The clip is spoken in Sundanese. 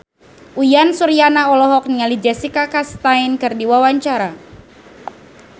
Uyan Suryana olohok ningali Jessica Chastain keur diwawancara